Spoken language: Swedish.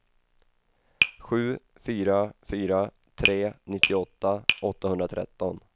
sju fyra fyra tre nittioåtta åttahundratretton